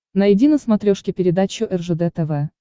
найди на смотрешке передачу ржд тв